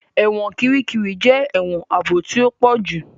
Ẹ̀wọ̀n Kirikiri jẹ èwòn ààbò tí o pojú